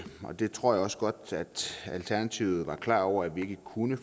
og det tror jeg også godt alternativet var klar over at vi ikke kunne